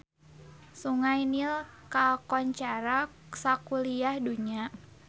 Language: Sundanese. Sungai Nil kakoncara sakuliah dunya